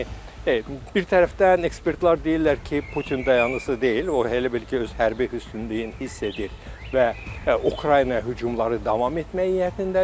Yəni bir tərəfdən ekspertlər deyirlər ki, Putin dayanıcısı deyil, o elə bil ki, öz hərbi üstünlüyünü hiss edir və Ukraynaya hücumları davam etmək niyyətindədir.